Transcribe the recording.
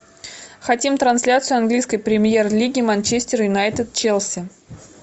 хотим трансляцию английской премьер лиги манчестер юнайтед челси